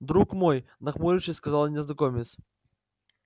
друг мой нахмурившись сказал незнакомец